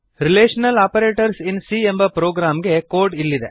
relational operators in c ಎಂಬ program ಗೆ code ಇಲ್ಲಿದೆ